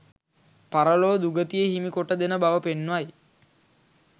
පරලොව දුගතිය හිමි කොට දෙන බව පෙන්වයි